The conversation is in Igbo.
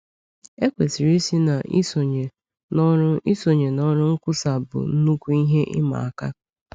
Ekwesịrị ịsị na isonye n’ọrụ isonye n’ọrụ nkwusa bụ nnukwu ihe ịma aka.